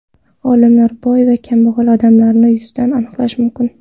Olimlar: Boy va kambag‘al odamlarni yuzidan aniqlash mumkin.